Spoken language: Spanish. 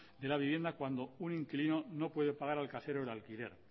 de la vivienda cuando un inquilino no puede pagar al casero el alquiler